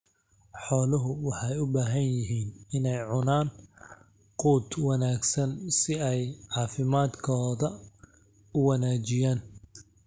Xooluhu waxay u baahan yihiin inay cunaan quud wanaagsan si ay caafimaadkooda u wanaajiyaan.